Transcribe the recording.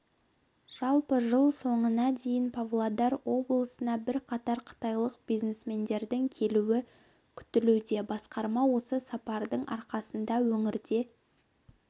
жалпы жыл соңына дейін павлодар облысына бірқатар қытайлық бизнесмендердің келуі күтілуде басқарма осы сапардың арқасында өңірде